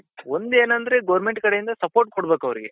ಒಂದೇನಂದ್ರೆ government ಕಡೆ ಇಂದ support ಕೊಡ್ಬೇಕ್ ಅವ್ರಿಗೆ